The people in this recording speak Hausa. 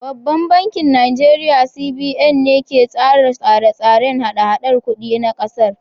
Babban bankin Najeriya CBN ne ke tsara tsarin hada-hadar kuɗi na ƙasar.